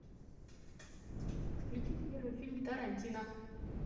включи первый фильм тарантино